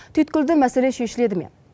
түйткілді мәселе шешіледі ме